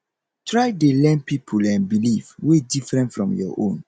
try dey learn pipol um belief wey different from yur own